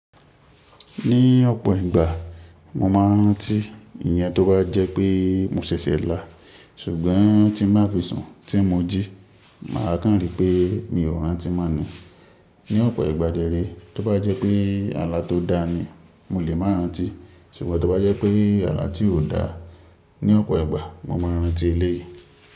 Ní ọ̀pọ̀ ìgbà mo máa rántí ìyẹn tó bá jẹ́ pé mo ṣẹ̀ṣẹ̀ là, ṣùgbọ́n tí mo á fi sùn tí mo jí, màá kàn ríi pé mi ò rántí mọ́ ni. Ní ọ̀pọ̀ ìgbà de rẹ́ tó bá jẹ́ pé àlá tó da ni mo lè máa rántí, ṣùgbọ́n tó bá jẹ́ pé àlá tí ò da, ní ọ̀pọ̀ ìgbà mo máa rántí eléyìí.